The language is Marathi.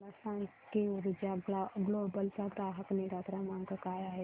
मला सांग की ऊर्जा ग्लोबल चा ग्राहक निगा क्रमांक काय आहे